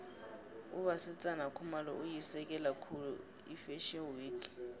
ubasetsana khumalo uyisekela khulu ifashio week